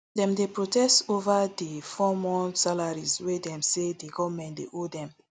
dem dey protest ova di four month salaries wey dem say di goment dey owe dem